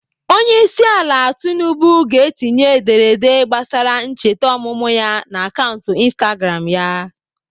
Onyeisiala Tinubu ga-etinye ederede gbasara ncheta ọmụmụ ya n'akaụntụ Instagram ya.